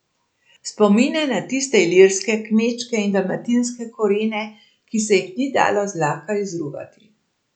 Spomine na tiste ilirske, kmečke in dalmatinske korene, ki se jih ni dalo zlahka izruvati.